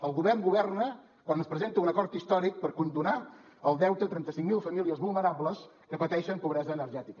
el govern governa quan es presenta un acord històric per condonar el deute a trenta cinc mil famílies vulnerables que pateixen pobresa energètica